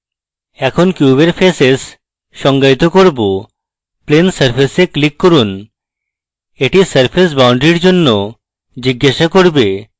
এখন কিউবের faces সংজ্ঞায়িত করব plane surface we click করুন এটি surface boundary এর জন্য জিজ্ঞাসা cube